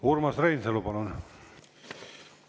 Urmas Reinsalu, palun!